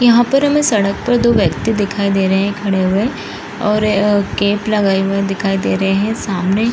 यहाँ पर हमें सड़क पर दो व्यक्ति दिखाई दे रहे खड़े हुए और कैप लगी हुई दिखाई दे रहे है सामने।